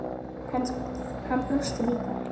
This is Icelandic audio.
Hann brosir líka.